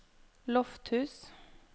Lofthus